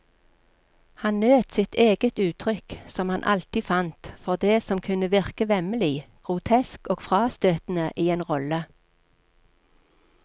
Han nøt sitt eget uttrykk, som han alltid fant, for det som kunne virke vemmelig, grotesk og frastøtende i en rolle.